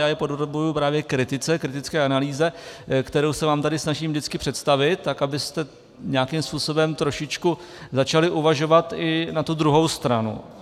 Já je podrobuji právě kritice, kritické analýze, kterou se vám tady snažím vždycky představit, tak abyste nějakým způsobem trošičku začali uvažovat i na tu druhou stranu.